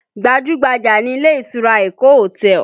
Gbajú-gbajà ni ilé ìtura Eko hotel